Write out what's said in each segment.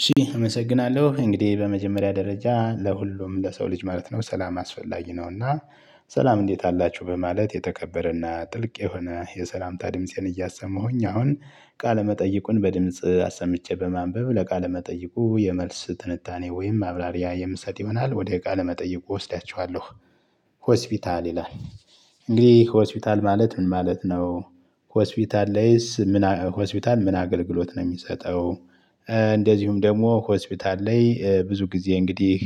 እሺ እመሰግናለሁ እንግዲህ በመጀመሪያ ደረጃ ለሁሉም ለሰው ልጅ ማለት ነው ሠላም አስፈላጊ ነው። እና ሠላም እንዴት አላችሁ በማለት የተከበረና ጥልቅ የሆነ የሠላምታ ድምፄን እያሰማሁኝ አሁን ቃለመጠይቁን በድምጽ አሰምቼ በማንበብ ለቃለ መጠይቁ የመልስ ትንታኔ ወይም ማብራሪያ የምሰጥ ይሆናል ወደ ቃለ መጠየቁ እወስዳቸዋለሁ። ሆስፒታል ይላል እንግዲህ ሆስፒታል ማለት ምን ማለት ነው? ሆስፒታል ላይስ ምን አ ሆስፒታል ምን አገልግሎት ነው የሚሰጠው? እንደዚሁም ደግሞ ሆስፒታል ላይ ብዙ ጊዜ እንግዲህ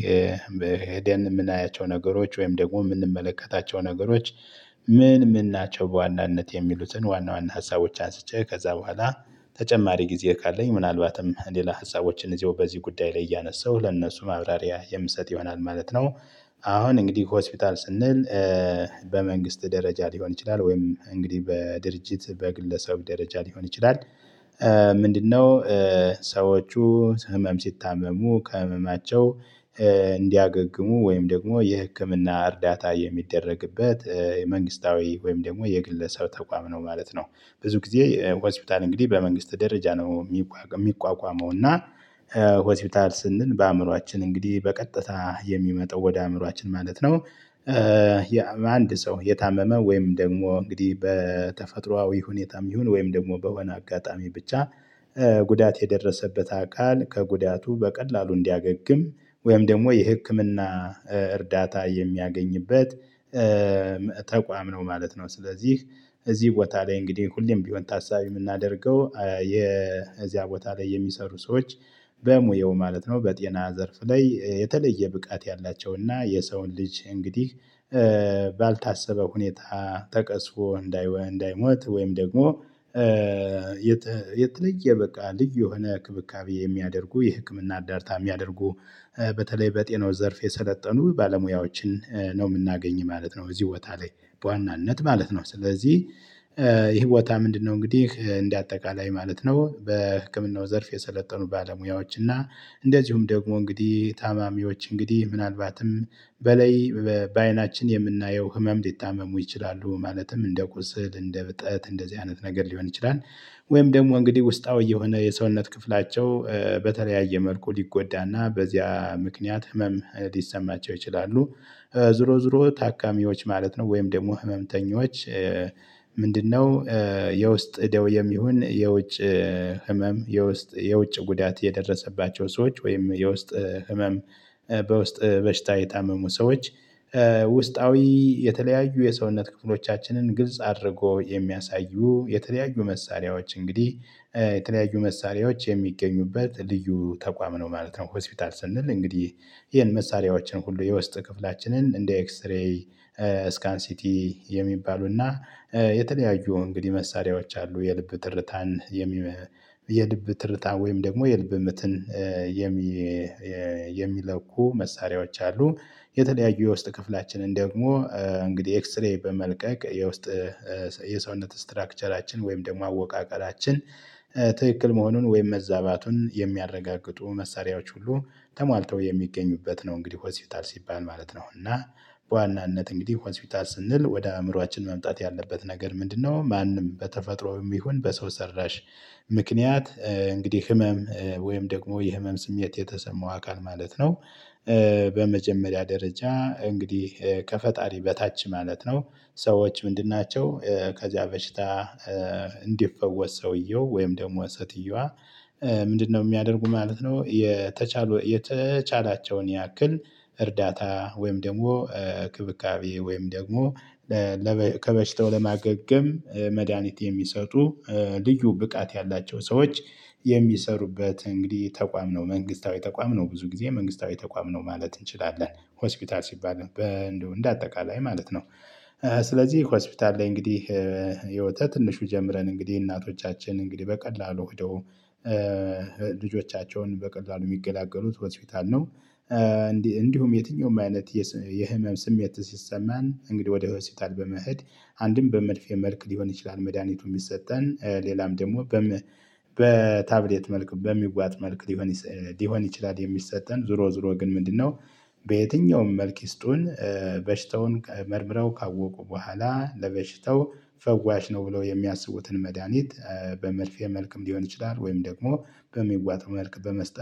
የምናያቸው ነገሮች ወይም ደግሞ የምንመለከታቸው ነገሮች። ምን ምን ናቸው በዋናነት የሚሉትን ዋና ዋና ሀሳቦች አንስቼ ከዛ በኋላ ተጨማሪ ጊዜ ካለኝ ምናልባትም ሌላ ሀሳቦችን እዚሁ በዚህ ጉዳይ ላይ እያነሳሁ ለእነሱ ማብራሪያ የምሰጥ ይሆናል ማለት ነው። አሁን እንግዲህ ሆስፒታል ስንል በመንግስት ደረጃ ሊሆን ይችላል ወይም እንግዲህ በድርጅት በግለሰብ ደረጃ ሊሆን ይችላል። ምንድንነው? ሰዎቹ ህመም ሲታመሙ ከህመማቸው እንዲያገግሙ ወይም ደግሞ የህክምና እርዳታ የሚደረግበት የመንግስታዊ ወይም ደግሞ የግለሰብ ተቋም ነው ማለት ነው። ብዙ ጊዜ ሆስፒታል እንግዲህ በመንግስት ደረጃ ነው የሚቋቋመው እና ሆስፒታል ስንል በአእምሮአችን እንግዲህ በቀጥታ የሚመጣው ወደ አእምሮአችን ማለት ነው። አንድ ሰው የታመመ ወይም ደግሞ እንግዲህ በተፈጥሮአዊ ሁኔታም ይሁን ወይም ደግሞ በሆነ አጋጣሚ ብቻ ጉዳት የደረሰበት አካል ከጉዳቱ በቀላሉ እንዲያገግም ወይም ደግሞ የህክምና እርዳታ የሚያገኝበት ተ ነው ማለት ነው። ስለዚህ። እዚህ ቦታ ላይ እንግዲህ ሁሌም ቢሆን ታሳቢ የምናደርገው የዚያ ቦታ ላይ የሚሰሩ ሰዎች። በሙያው ማለት ነው በጤና ዘርፍ ላይ የተለየ ብቃት ያላቸውና የሰውን ልጅ እንግዲህ ባልታሰበ ሁኔታ። ተቀስፎ እንዳይዎ እንዳይሞት ወይም ደግሞ የተ የተለየ በቃ ልዩ የሆነ ክብካቤ የሚያደርጉ የህክምና እርዳታ የሚያደርጉ በተለይ በጤናው ዘርፍ የሰለጠኑ ባለሙያዎችን ነው የምናገኝ ማለት ነው። እዚህ ቦታ ላይ በዋናነት ማለት ነው ስለዚህ። ይሄ ቦታ ምንድንነው? እንግዲህ እንደ አጠቃላይ ማለት ነው በህክምናው ዘርፍ የሰለጠኑ ባለሙያዎች እና እንደዚሁም ደግሞ እንግዲህ ታማሚዎች እንግዲህ ምናልባትም በላይ በ በአይናችን የምናየው ህመም ሊታመሙ ይችላሉ ማለትም እንደ ቁስል እንደ እብጠት እንደዚህ አይነት ነገር ሊሆን ይችላል። ወይም ደግሞ እንግዲህ ውስጣዊ የሆነ የሰውነት ክፍላቸው በተለያየ መልኩ ሊጎዳና በዚያ ምክንያት ህመም ሊሰማቸው ይችላሉ። ዞሮ ዞሮ ታካሚዎች ማለት ነው ወይም ደግሞ ህመምተኞች። ምንድንነው? የውስጥ ደዌየም ይሁን የውጭ ህመም የውስጥ የውጭ ጉዳት የደረሰባቸው ሰዎች ወይም የውስጥ ህመም በውስጥ በሽታ የታመሙ ሰዎች። ውስጣዊ የተለያዩ የሰውነት ክፍሎቻችንን ግልጽ አድርጎ የሚያሳዩ የተለያዩ መሳሪያዎች እንግዲህ የተለያዩ መሳሪያዎች የሚገኙበት ልዩ ተቋም ነው ማለት ነው። ሆስፒታል ስንል እንግዲህ ይሄን መሳሪያዎችን ሁሉ የውስጥ ክፍላችንን እንደ ኤክስሬይ ስካን ሲቲ የሚባሉና የተለያዩ እንግዲህ መሳሪያዎች አሉ የልብ ትርታን የሚ የልብ ትርታን ወይም ደግሞ የልብ ምትን የሚ የሚለኩ መሳሪያዎች አሉ። የተለያዩ የውስጥ ክፍላችንን ደግሞ እንግዲህ ኤክስሬይ በመልቀቅ የውስጥ የሰውነት ስትራክቸራችን ወይም ደግሞ አወቃቀራችን ትክክል መሆኑን ወይም መዛባቱን የሚያረጋግጡ መሳሪያዎች ሁሉ ተሟልተው የሚገኙበት ነው። እንግዲህ ሆስፒታል ሲባል ማለት ነው። እና በዋናነት እንግዲህ ሆስፒታል ስንል ወደ አእምሮአችን መምጣት ያለበት ነገር ምንድነው? ማንም በተፈጥሮ የሚሆን በሰው ሰራሽ ምክንያት እንግዲህ ህመም ወይም ደግሞ የህመም ስሜት የተሰማው አካል ማለት ነው። በመጀመሪያ ደረጃ እንግዲህ ከፈጣሪ በታች ማለት ነው። ሰዎች ምንድን ናቸው? ከዚያ በሽታ። እንዲፈወስ ሰውየው ወይም ደግሞ ሴትየዋ። ምንድንነው? የሚያደርጉ ማለት ነው። የተቻሉ የተቻላቸውን ያክል እርዳታ ወይም ደግሞ ክብካቤ ወይም ደግሞ ለበ ከበሽታው ለማገገም መድሃኒት የሚሰጡ ልዩ ብቃት ያላቸው ሰዎች። የሚሰሩበት እንግዲህ ተቋም ነው መንግስታዊ ተቋም ነው ብዙ ጊዜ መንግስታዊ ተቋም ነው ማለት እንችላለን ሆስፒታል ሲባል በ እንደው እንደ አጠቃላይ ማለት ነው። ስለዚህ ሆስፒታል ላይ እንግዲህ ያው ከንሹ ጀምረን እንግዲህ እናቶቻችን እንግዲህ በቀላሉ ሄደው ልጆቻቸውን በቀላሉ የሚገላገሉት ሆስፒታል ነው። እንዲ እንዲሁም የትኛውም አይነት የስ የህመም ስሜት ሲሰማን እንግዲህ ወደ ሆስፒታል በመሄድ አንድም በመርፌ መልክ ሊሆን ይችላል መድሃኒቱ የሚሰጠን ሌላም ደግሞ በታብሌት መልኩ በሚዋጥ መልክ ሊሆን ስ ሊሆን ይችላል። የሚሰጠን ዞሮ ዞሮ ግን ምንድንነው? በየትኛውም መልክ ይስጡን። በሽታውን ከ መርምረው ካወቁ በኋላ ለበሽታው ፈዋሽ ነው ብለው የሚያስቡትን መድሃኒት በመርፌ መልክም ሊሆን ይችላል ወይም ደግሞ በሚዋጠው መልክ በመስጠት